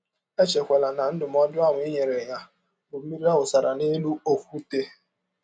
Echekwala na ndụmọdụ ahụ i nyere ya bụ mmiri a wụsara n’elụ ọkwụte.